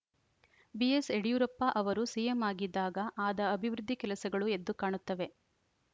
BS Yediyurappa ಅವರು CM ಆಗಿದ್ದಾಗ ಆದ ಅಭಿವೃದ್ಧಿ ಕೆಲಸಗಳು ಎದ್ದು ಕಾಣುತ್ತವೆ